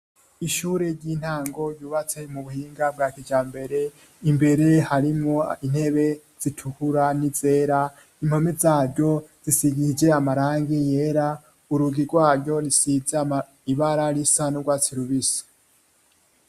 Ishure ry'intango ryubatse mu buhinga bwa kijambere imbere harimwo intebe zitukura n'izera. Impome zaryo zisigishije amarangi yera urugi rwaryo rusize ibara risa n'ugwatsi rubisi.